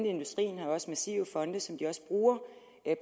industrien også massive fonde som de også bruger på